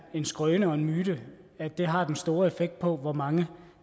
en skrøne og en myte at det har den store effekt på hvor mange